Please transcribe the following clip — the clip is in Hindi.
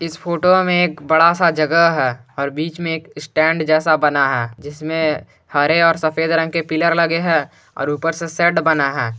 इस फोटो में एक बड़ा सा जगह है और बीच में एक स्टैंड जैसा बना है जिसमें हरे और सफेद रंग के पिलर लगे है और ऊपर से शेड बना है।